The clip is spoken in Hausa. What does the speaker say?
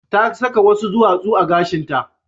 Ta saka wasu duwatsu a gashinta.